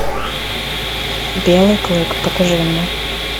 белый клык покажи мне